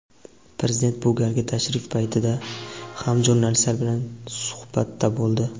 Prezident bu galgi tashrif paytida ham jurnalistlar bilan suhbatda bo‘ldi.